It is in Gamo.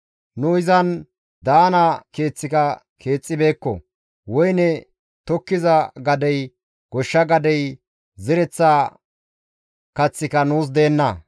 Nu izan daana keeththika keexxibeekko; woyne tokkiza gadey, goshsha gadey, zereththa kaththika nuus deenna.